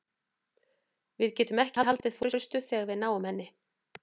Við getum ekki haldið forystu þegar við náum henni.